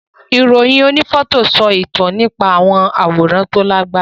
Ìròyìn onífọ́tò ń sọ ìtàn nípa àwọn àwòrán tó Lágbára